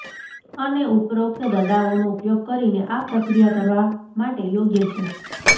અને ઉપરોક્ત દડાઓનો ઉપયોગ કરીને આ પ્રક્રિયા કરવા માટે યોગ્ય છે